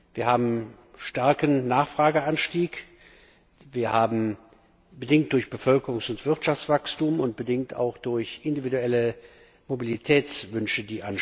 Wir haben einen starken Nachfrageanstieg, bedingt durch Bevölkerungs und Wirtschaftswachstum, und bedingt auch durch individuelle Mobilitätswünsche.